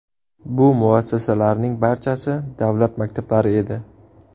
Bu muassasalarning barchasi davlat maktablari edi.